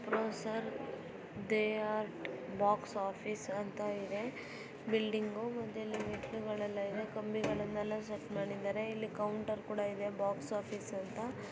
Apsara theatre box office ಅಂತ ಇದೆ building ಮುಂದೆಲ್ಲಾ ಮೆಟ್ಲುಗಳೆಲ್ಲ ಇವೆ ಕಂಬಿಗಳನ್ನೆಲ್ಲ ಸೆಟ್ ಮಾಡಿದರೆ. ಇಲ್ಲಿ ಕೌಂಟರ್ ಕೂಡ ಇದೆ ಬಾಕ್ಸ್ ಆಫೀಸ್ ಅಂತ--